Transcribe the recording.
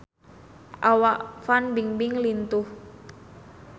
Awak Fan Bingbing lintuh